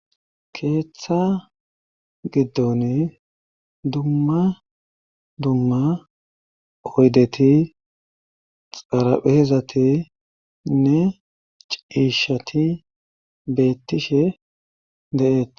Keeththa giddon dumma dumma oyddeti, xarapheezatinne ciishati beettishe de'eetes.